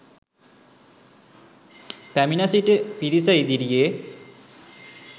පැමිණ සිටි පිරිස ඉදිරියේ